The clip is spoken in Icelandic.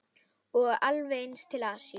Og alveg eins til Asíu.